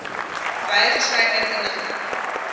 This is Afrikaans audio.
wye verskeidenheid inligting